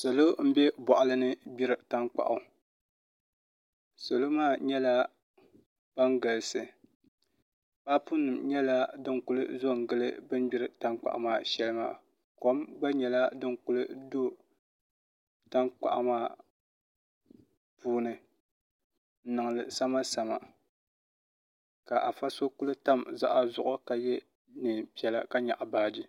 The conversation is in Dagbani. salo n bɛ boɣali ni gbiri tankpaɣu salo maa nyɛla ban galisi paapu nim nyɛla din ku zo n gili bi ni gbiri tankpaɣu maa shɛli maa kom gba nyɛla din ku do tankpaɣu maa puuni n niŋ li samasama ka afa so ku tam zuɣa zuɣu ka yɛ neen piɛla ka nyaɣa baaji